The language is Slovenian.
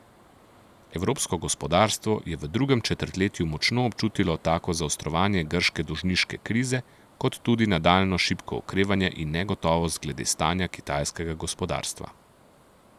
Evropsko gospodarstvo je v drugem četrtletju močno občutilo tako zaostrovanje grške dolžniške krize kot tudi nadaljnje šibko okrevanje in negotovost glede stanja kitajskega gospodarstva.